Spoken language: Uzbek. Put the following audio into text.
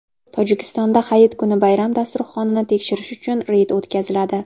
Tojikistonda hayit kuni bayram dasturxonini tekshirish uchun reyd o‘tkaziladi.